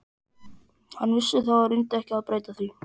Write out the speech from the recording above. Hann vissi það og reyndi ekki að breyta því.